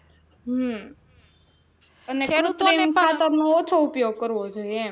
હમ ખેડૂતો એ કુત્રિમ ખાતર નો ઓછો ઉપયોગ કરવો જોઈએ એમ.